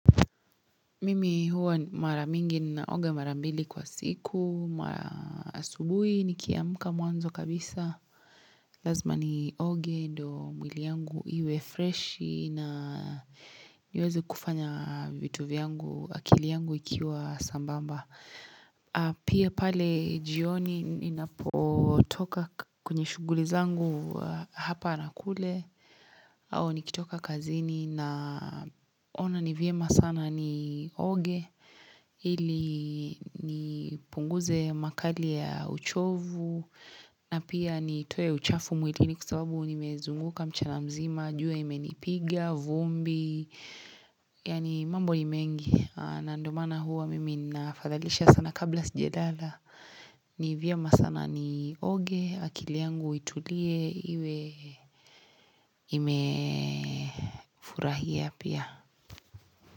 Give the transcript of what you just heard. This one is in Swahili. Mimi huwa maramingi na oga marambili kwa siku, maasubui nikiamka mwanzo kabisa. Lazma ni oge ndo mwili yangu iwe fresh na niweze kufanya vitu vyangu akili yangu ikiwa sambamba. Pia pale jioni ni napotoka kwenye shughuli zangu hapa na kule. Au nikitoka kazini na ona nivyema sana ni oge, ili nipunguze makali ya uchovu, na pia nitoe uchafu mwilini kwa sababu nimezunguka mchana mzima, jua imenipiga, vumbi, yani mambo ni mengi, na ndio maana huwa mimi nafadhalisha sana kabla sijelala. Ni vyema sana ni oge akili yangu itulie iwe ime furahia pia.